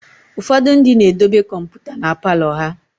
ụfọdụ ndị na-edobe kọmpụta na Palọ ha